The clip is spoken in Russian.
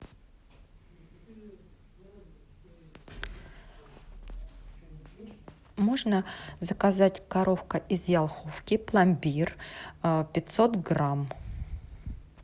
можно заказать коровка из елховки пломбир пятьсот грамм